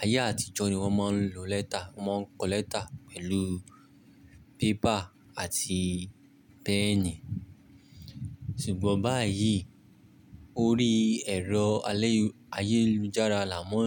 ayé àtijọ́ ni wọ́n máa ń lo lẹ́tà. Wọ́n máa ń kọ lẹ́tà pẹ̀lú pépà àti pẹ́ẹ̀nì. Ṣùgbọ́n báyìí, orí ẹ̀rọ ayélujára là mọ